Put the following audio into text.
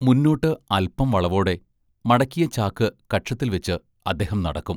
മുന്നോട്ട് അല്പം വളവോടെ, മടക്കിയ ചാക്ക് കക്ഷത്തിൽ വെച്ച്, അദ്ദേഹം നടക്കും.